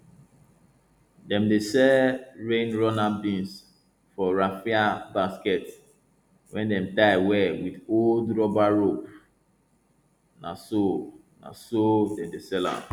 dem dey sell rain runner beans for raffia basket wey dem tie well wit old rubber rope na so na so dem dey sell am